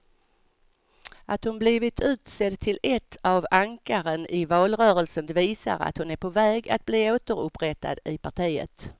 Att hon blivit utsedd till ett av ankaren i valrörelsen visar att hon är på väg att bli återupprättad i partiet.